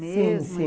mesmo. Sim, sim.